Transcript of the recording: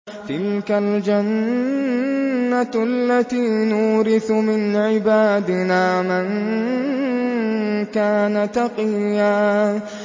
تِلْكَ الْجَنَّةُ الَّتِي نُورِثُ مِنْ عِبَادِنَا مَن كَانَ تَقِيًّا